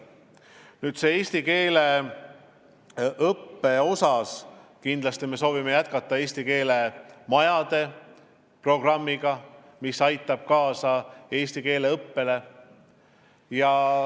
Nüüd, eesti keele õppe vallas me kindlasti soovime jätkata eesti keele majade programmi, mis aitab kaasa eesti keele õppele.